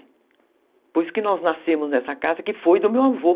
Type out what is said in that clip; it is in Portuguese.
Por isso que nós nascemos nessa casa, que foi do meu avô.